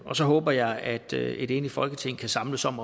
og så håber jeg at et enigt folketing kan samles om